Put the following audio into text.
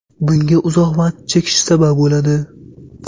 Bunga uzoq vaqt chekish sabab bo‘ladi.